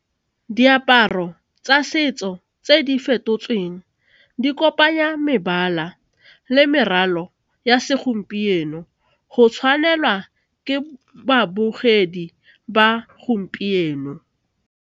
Diaparo tsa setso tse di fetotsweng di kopanya mebala le meralo ya segompieno go tshwanelwa ke babogedi ba gompieno.